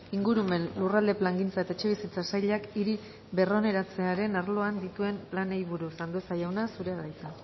ingurumen lurralde plangintza eta etxebizitza sailak hiri berroneratzearen arloan dituen planei buruz andueza jauna zurea da hitza